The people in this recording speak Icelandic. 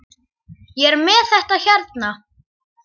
Ég er með þetta hérna.